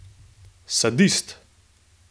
Sadist!